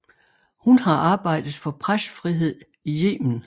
Hun har arbejdet for pressefrihed i Yemen